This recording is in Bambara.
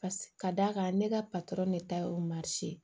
Pasi ka d'a kan ne ka ne ta y'o ye